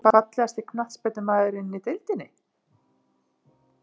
Fallegasti knattspyrnumaðurinn í deildinni???